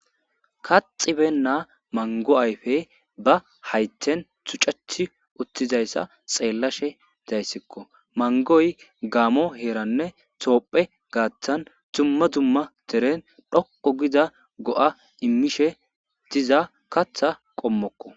kaxibennaa manggo ayfe ba haythen tuccetti uttizayssa xeellashe dayssikko. mangoy gaamo heeranne toophe gaattan dumma dumma deren dhoqo gida go'a immishe diza kaththa qommokko.